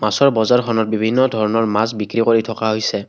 মাছৰ বজাৰখনত বিভিন্ন ধৰণৰ মাছ বিক্ৰী কৰি থকা হৈছে।